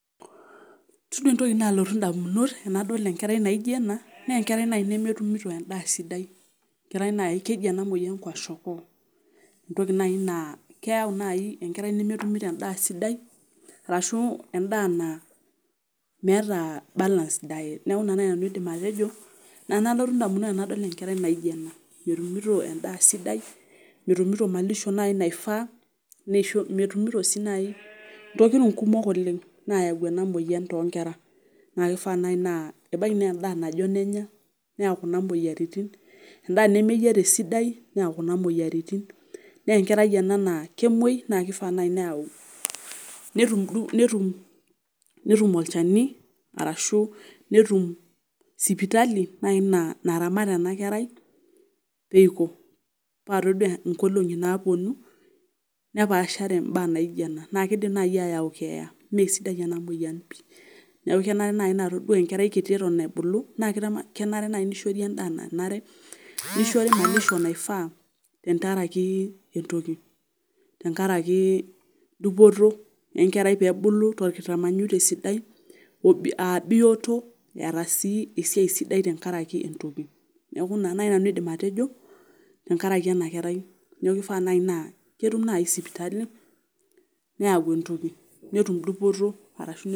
itodua entoki naalotu damunot tenadol enkerai naijo ena, naa enkerai naaji nemetumito edaa sidai. keji ena moyian, kwashiokor entoki naaji naa keyau naai enkerai nemetumito endaa sidai arashu endaa naa ,meeta balance diet neeku ina naaji nanu aidim atejo, ina nalotu damunot tenado ebae naijo ena. metumito edaa sidai, metumito malisho naaji naifaa, metumito sii naaji ntokitin kumok oleng' naayau ena moyian too nkera, naa kifaa naji naa ebaiki naa edaa najon enya. neyau kuna moyiaritin. endaa nemeyiara esidai, neyau kuna moyiaritin naa enkerai ena naa, kemuoi naa kifaa naaji neyau, netum netum olchani, arashu netum sipitali naaji naramat ena kerai pee iko, paa itodua nkolong'i naapuonu, nepaashare mbaa naijo ena, naa kidim naaji aayau, keeya. ime sidai ena moyian pii. neeku kenare naaji todua enkerai kiti eton eitu ebulu, naa kenare naaaji nishori endaa nanare, nishori malisho naifaa tenkaraki entoki, tenkaraki dupoto enekarai pee ebulu tolkitamanyunu te sidai, aa bioto eeta sii esiai sidai, tenkaraki netoki, ina naaji nanau aidim atejo tenkaraki ena kerai. neeku kifaa naai naa keya sipatali neyau entoki, netum dupoto arashu entoki.